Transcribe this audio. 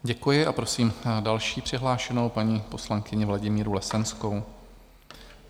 Děkuji a prosím další přihlášenou paní poslankyni Vladimíru Lesenskou.